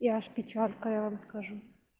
и аж печалька я вам скажу